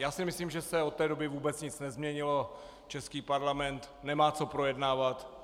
Já si myslím, že se od té doby vůbec nic nezměnilo, český Parlament nemá co projednávat.